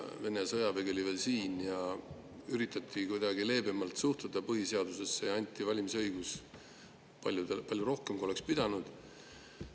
Vene sõjavägi oli veel siin ja üritati kuidagi leebemalt suhtuda põhiseadusesse, anti valimisõigus palju rohkematele, kui oleks pidanud.